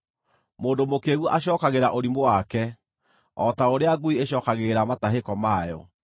Mũndũ mũkĩĩgu acookagĩra ũrimũ wake o ta ũrĩa ngui ĩcookagĩrĩra matahĩko mayo.